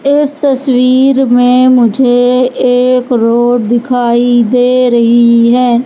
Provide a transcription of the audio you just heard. इस तस्वीर में मुझे एक रोड दिखाई दे रही है।